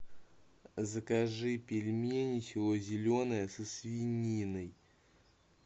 закажи пельмени село зеленое со свининой